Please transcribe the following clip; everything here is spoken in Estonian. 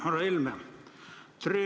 Härra Helme!